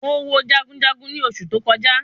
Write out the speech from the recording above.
Mo wo jagunjagun ni oṣù tó kọjá